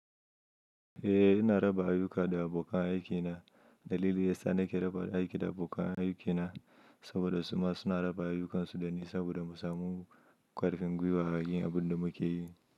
Eh, ina raba ayyuka da abokan aikina. Dalili ya sa nake raba aiki da abokan aikina saboda su ma suna raba ayyukansu dani saboda mu samu ƙarfin gwiwa a yin abun da muke yi.